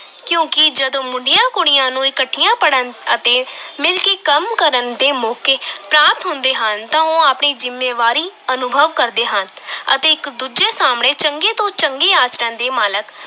ਕਿਉਂਕਿ ਜਦੋਂ ਮੁੰਡਿਆਂ ਕੁੜੀਆਂ ਨੂੰ ਇਕੱਠਿਆਂ ਪੜ੍ਹਨ ਅਤੇ ਮਿਲਕੇ ਕੰਮ ਕਰਨ ਦੇ ਮੌਕੇ ਪ੍ਰਾਪਤ ਹੁੰਦੇ ਹਨ ਤਾਂ ਉਹ ਆਪਣੀ ਜ਼ਿੰਮੇਵਾਰੀ ਅਨੁਭਵ ਕਰਦੇ ਹਨ ਅਤੇ ਇੱਕ ਦੂਜੇ ਸਾਹਮਣੇ ਚੰਗੇ ਤੋਂ ਚੰਗੇ ਆਚਰਣ ਦੇ ਮਾਲਕ